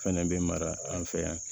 Fɛnɛ bɛ mara an fɛ yan